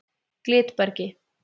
Glitbergi